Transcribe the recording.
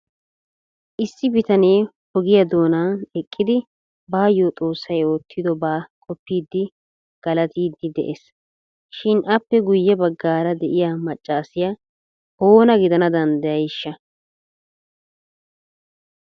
Issi bitanee ogiyaa doona eqqidi baayyo xoossay oottidoba qopidi galattidi de'ees shin appe guuye baggaara de'iyaa maccassiya oona gidana danddayayshsha!